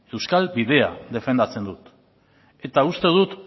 euskal bidea defendatzen dut eta uste dut